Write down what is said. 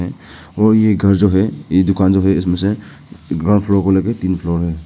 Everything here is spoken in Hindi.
और ये घर जो है ये दुकान जो है इसमें से ग्राउंड फ्लोर को लेके तीन फ्लोर है।